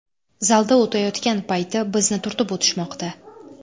Zalda o‘tayotgan payti bizni turtib o‘tishmoqda.